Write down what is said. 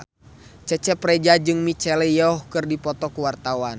Cecep Reza jeung Michelle Yeoh keur dipoto ku wartawan